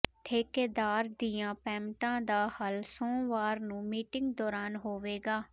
ਠੇਕੇਦਾਰਾਂ ਦੀਆਂ ਪੇਮੈਂਟਾਂ ਦਾ ਹੱਲ ਸੋਮਵਾਰ ਨੂੰ ਮੀਟਿੰਗ ਦੌਰਾਨ ਹੋਵੇਗਾ